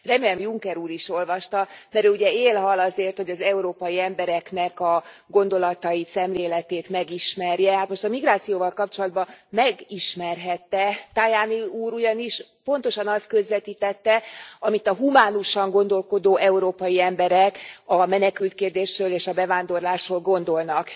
Remélem Juncker úr is olvasta, mert ő ugye él hal azért, hogy az európai embereknek a gondolatait, szemléletét megismerje, hát most a migrációval kapcsolatban megismerhette, Tajani úr ugyanis pontosan azt közvetítette, amit a humánusan gondolkodó európai emberek a menekültkérdésről és a bevándorlásról gondolnak.